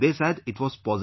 They said it was positive